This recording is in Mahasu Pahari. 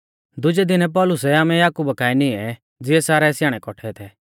दुजै दिनै पौलुसै आमै याकुबा काऐ निऐं ज़िऐ सारै स्याणै कौट्ठै थै